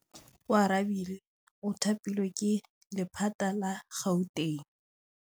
Oarabile o thapilwe ke lephata la Gauteng.